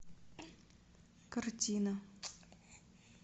картина